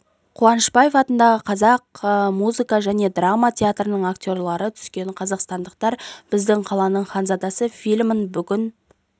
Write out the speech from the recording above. қуанышбаев атындағы қазақ музыка және драма театрының актерлері түскен қазақстандықтар біздің қаланың ханзадасы фильмін бүгін